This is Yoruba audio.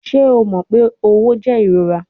Ṣe o mọ pe õwo jẹ irora?